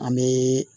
An bɛ